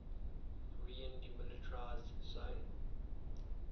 korean demilitarized zone